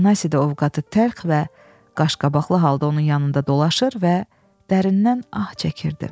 Afanasi də ovqatı təlx və qaşqabaqlı halda onun yanında dolaşır və dərindən ah çəkirdi.